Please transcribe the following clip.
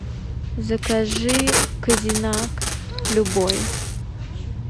закажи козинак любой